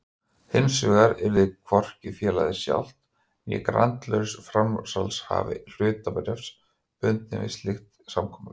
Hinsvegar yrði hvorki félagið sjálft né grandlaus framsalshafi hlutabréfs bundinn við slíkt samkomulag.